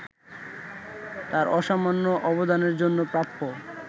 তাঁর অসামান্য অবদানের জন্য প্রাপ্য